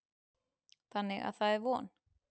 Þannig að það er von.